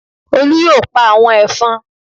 Olú yóò pa àwọn ẹ̀fọn